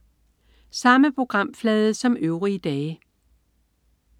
Samme programflade som øvrige dage